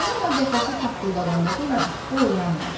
Çippolinonun qəfəsi taqqıldadanda belə, o oyanmadı.